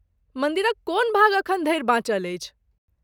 मन्दिरक कोन भाग अखन धरि बाँचल अछि?